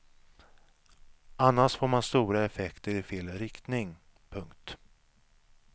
Annars får man stora effekter i fel riktning. punkt